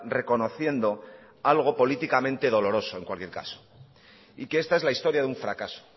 reconociendo algo políticamente doloroso en cualquier caso y que esta es la historia de un fracaso